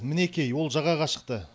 мінекей ол жағаға шықты